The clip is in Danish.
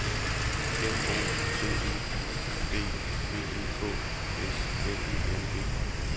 N O T E U D V E K S L I N G